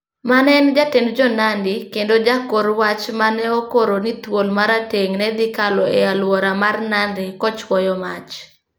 Mane en jatend Jo-Nandi kendo jakor wach ma ne okoro ni thuol ma rateng' ne dhi kalo e alwora mar Nandi kochuoyo mach.